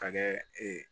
Ka kɛ